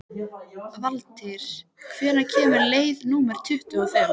Valtýr, hvenær kemur leið númer tuttugu og fimm?